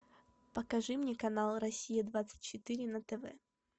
покажи мне канал россия двадцать четыре на тв